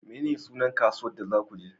Menene sunan kasuwar da za ku je?